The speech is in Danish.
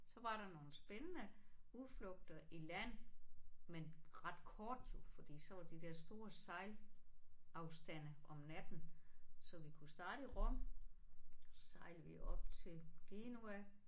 Så var der nogle spændende udflugter i land men ret korte jo fordi så var de der store sejlafstande om natten så vi kunne starte i Rom så sejlede vi op til Genova